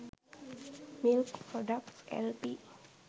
milk products lp